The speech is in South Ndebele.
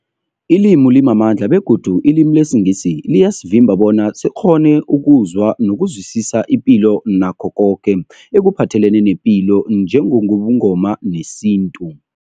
Ilimi limamandla begodu ilimi lesiNgisi liyasivimba bona sikghone ukuzwa nokuzwisisa ipilo nakho koke ekuphathelene nepilo njengobuNgoma nesintu.